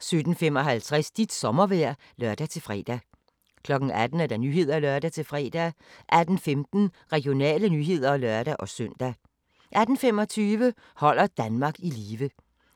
17:55: Dit sommervejr (lør-fre) 18:00: Nyhederne (lør-fre) 18:15: Regionale nyheder (lør-søn) 18:25: Holder Danmark i live